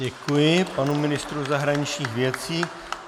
Děkuji panu ministru zahraničních věcí.